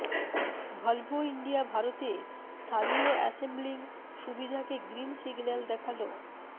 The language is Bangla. ভল্ভো ইন্ডিয়া ভারতে স্থানীয় অ্যাসেম্বলিং সুবিধা কে গ্রিন সিগন্যাল দেখাল